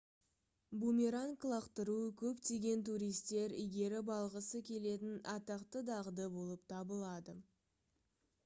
бумеранг лақтыру көптеген туристер игеріп алғысы келетін атақты дағды болып табылады